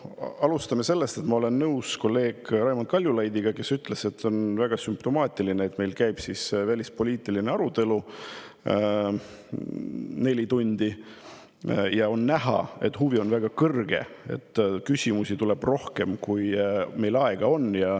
Alustame sellest, et ma olen nõus kolleeg Raimond Kaljulaidiga, kes ütles, et on väga sümptomaatiline, et meil käib välispoliitiline arutelu neli tundi ja on näha, et huvi on väga suur, sest küsimusi tuleb rohkem, kui meil aega on.